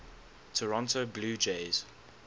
toronto blue jays